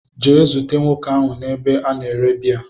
gaa zute nwoke ahu n'ebe a na-ere biya